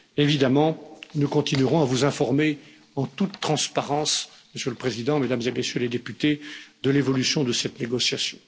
Évidemment, nous continuerons à vous informer en toute transparence, Monsieur le président, Mesdames et Messieurs les députés, de l'évolution de cette négociation.